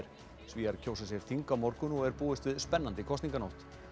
Svíar kjósa sér þing á morgun og er búist við spennandi kosninganótt